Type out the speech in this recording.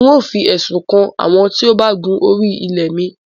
N óo fi ẹ̀sùn kàn àwọn tíó ba gun ori ilẹ̀ mi.